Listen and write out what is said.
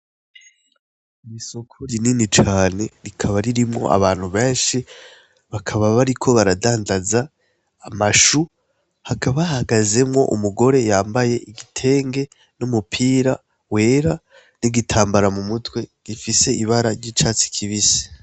Mwisoko ryinini cane rikaba ririmwo abantu benshi bakaba bariko baradandaza amashu hakabahagazemwo umugore yambaye igitenge n'umupira wera n'igitambara mu mutwe gifise ibara ry'icatsi kibise.